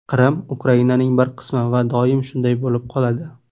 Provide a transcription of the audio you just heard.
Qrim Ukrainaning bir qismi va doim shunday bo‘lib qoladi.